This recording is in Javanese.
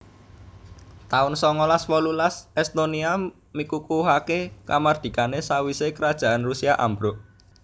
taun songolas wolulas Estonia mikukuhaké kamardikané sawisé Kerajaan Rusia ambruk